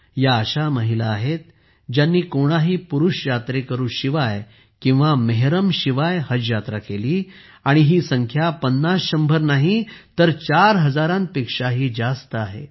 या अशा महिला आहेत ज्यांनी कोणत्याही पुरुष सोबत्याशिवाय किंवा मेहरमशिवाय हजयात्रा केलीआणि ही संख्या पन्नास शंभर नाही तर 4 हजारांपेक्षाही जास्त आहे